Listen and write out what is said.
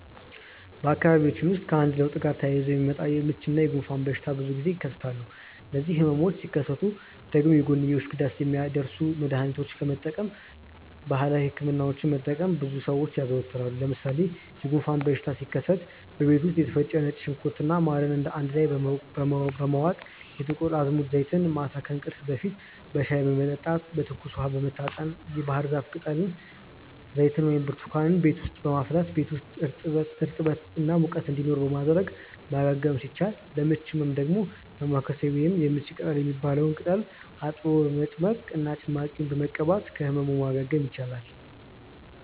በአካባቢያችን ውስጥ ከአየር ለውጥ ጋር ተያይዞ የሚመጣ የምች እና የጉንፋን በሽታ ብዙ ጊዜ ይከሰታሉ። እነዚህ ህመሞች ሲከሰቱ ደግሞ የጎንዮሽ ጉዳት የሚያደርሱ መድሀኒቶችን ከመጠቀም ባህላዊ ህክምናዎችን መጠቀምን ብዙ ሰው ያዘወትራል። ለምሳሌ የጉንፋን በሽታ ሲከሰት በቤት ውስጥ የተፈጨ ነጭ ሽንኩርት እና ማርን አንድ ላይ በመዋጥ፣ የጥቁር አዝሙድ ዘይትን ማታ ከእንቅልፍ በፊት በሻይ በመጠጣት፣ በትኩስ ውሃ በመታጠን፣ የባህርዛፍ ቅጠል ዘይትን ወይም ብርቱካንን ቤት ውስጥ በማፍላት ቤት ውስጥ እርጥበት እና ሙቀት እንዲኖር በማድረግ ማገገም ሲቻል፤ ለምች ህመም ደግሞ ዳማከሴ ወይም የምች ቅጠል የሚባለውን ቅጠል አጥቦ በመጭመቅ እና ጭማቂውን በመቀባት ከህመም ማገገም ይቻላል።